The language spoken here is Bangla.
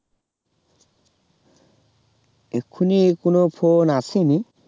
এক্ষুনি কোনো phone আসেনি